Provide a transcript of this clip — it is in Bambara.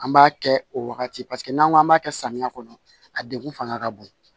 An b'a kɛ o wagati n'an k'an b'a kɛ samiya kɔnɔ a degun fanga ka bon